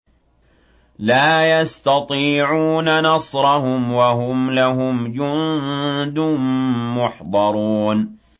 لَا يَسْتَطِيعُونَ نَصْرَهُمْ وَهُمْ لَهُمْ جُندٌ مُّحْضَرُونَ